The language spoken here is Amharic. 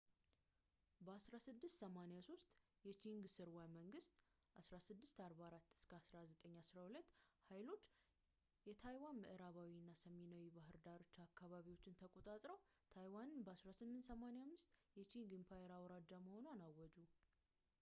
በ 1683 የቺንግ ሥርወ-መንግሥት 1644-1912 ኃይሎች የታይዋን ምዕራባዊ እና ሰሜናዊ የባህር ዳርቻ አካባቢዎችን ተቆጣጥረው ታይዋንን በ 1885 የቺንግ ኢምፓየር አውራጃ መሆኗን አወጁ